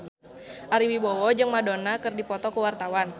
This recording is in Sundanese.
Ari Wibowo jeung Madonna keur dipoto ku wartawan